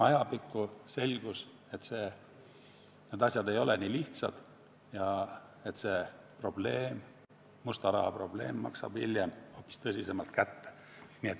Aga ajapikku selgus, et need asjad ei ole nii lihtsad, et see musta raha probleem maksab hiljem hoopis tõsisemalt kätte.